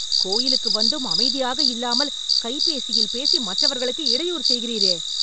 கோயிலுக்கு வந்தும், அமைதியாக இல்லாமல் கைபேசியில் பேசி மற்றவர்களுக்கு இடையூறு செய்கிறீரே